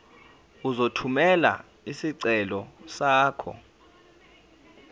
uzothumela isicelo sakho